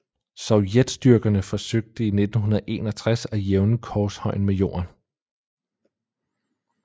Sovjetstyrkerne forsøgte i 1961 at jævne korshøjen med jorden